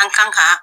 An kan ka